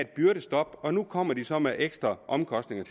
byrdestop og nu kommer de så med ekstra omkostninger